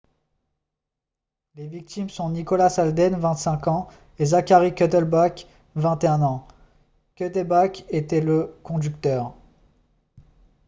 les victimes sont nicholas alden 25 ans et zachary cuddeback 21 ans cuddeback était le conducteur